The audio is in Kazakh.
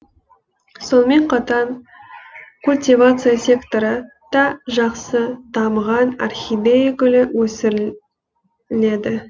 сонымен қатар культивация секторы да жақсы дамыған орхидея гүлі өсіріледі